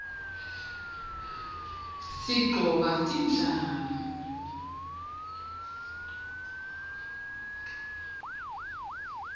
sigcoka tindlamu